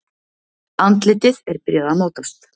Andlitið er byrjað að mótast.